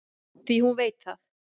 Því hún veit það.